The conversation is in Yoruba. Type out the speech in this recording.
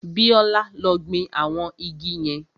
Bíọ́lá ló gbin àwọn igi yẹn